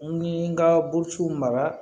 N ye n ka burusiw mara